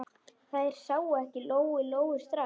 Þær sáu ekki Lóu-Lóu strax.